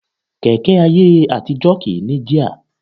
Kẹ̀kẹ́ ayé àtijọ́ kì í ní jíà